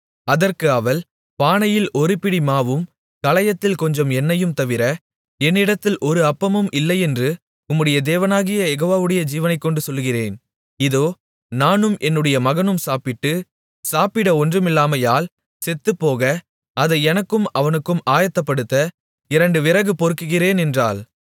அதற்கு அவள் பானையில் ஒரு பிடி மாவும் கலயத்தில் கொஞ்சம் எண்ணெயையும் தவிர என்னிடத்தில் ஒரு அப்பமும் இல்லையென்று உம்முடைய தேவனாகிய யெகோவாவுடைய ஜீவனைக்கொண்டு சொல்லுகிறேன் இதோ நானும் என்னுடைய மகனும் சாப்பிட்டு சாப்பிட ஒன்றுமில்லாமையால் செத்துப்போக அதை எனக்கும் அவனுக்கும் ஆயத்தப்படுத்த இரண்டு விறகு பொறுக்குகிறேன் என்றாள்